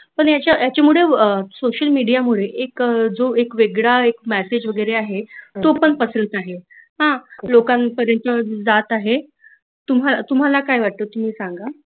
पण यांच्यामध्ये social media मुळे एक जो वेगळा मैसेज वगेरे आहे तो पण पसरत आहे हा लोकांपर्यंत जात आहे तुम्हाला काय वाटतं ते सांगा